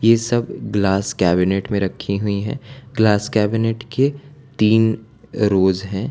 ये सब glass cabinet में रखी हुई हैं ग्लास कैबिनेट तीन रोज हैं।